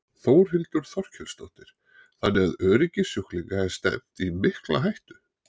Þórhildur Þorkelsdóttir: Þannig að öryggi sjúklinga er stefnt í mikla hættu?